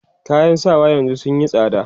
kayan sawa yanzun sunyi tsada